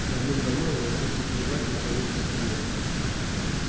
давным давно я научился плевать на человеческий мир